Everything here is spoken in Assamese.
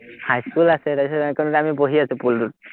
হাইস্কুল আছে, তাৰপিচত আমি বহি আছো পুলটোত